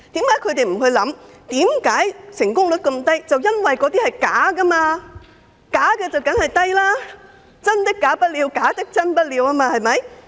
為何他們不想一想，成功率極低的原因是由於申請個案全屬虛假，正是"真的假不了，假的真不了"，對嗎？